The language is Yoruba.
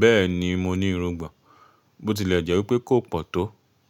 Bẹ́ẹ̀ni mo ní irungbọ̀n, bó ti lè jẹ́ wípé kò pọ̀ tó.